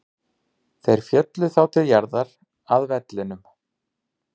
Þeir féllu þá til jarðar, að vellinum.